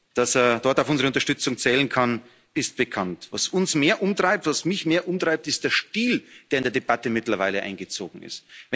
Dass er dabei auf unsere Unterstützung zählen kann, ist bekannt. Was uns mehr umtreibt, was mich mehr umtreibt, ist der Stil, der in der Debatte mittlerweile eingezogen ist.